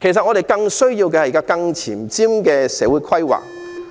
我們更需要的是更前瞻的社會規劃。